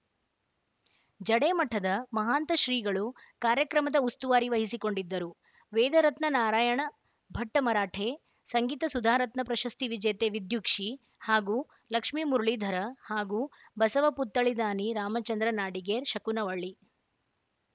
ಜಡೆ ಮಠದ ಮಹಾಂತ ಶ್ರೀಗಳು ಕಾರ್ಯಕ್ರಮದ ಉಸ್ತುವಾರಿ ವಹಿಸಿಕೊಂಡಿದ್ದರು ವೇದರತ್ನ ನಾರಾಯಣ ಭಟ್ಟಮರಾಠೆ ಸಂಗೀತ ಸುಧಾ ರತ್ನ ಪ್ರಶಸ್ತಿ ವಿಜೇತೆ ವಿದ್ಯುಕ್ಷಿ ಹಾಗೂ ಲಕ್ಷ್ಮೀಮುರಳೀಧರ ಹಾಗೂ ಬಸವ ಪುತ್ತಳಿ ದಾನಿ ರಾಮಚಂದ್ರ ನಾಡಿಗೇರ್‌ ಶಕುನವಳ್ಳಿ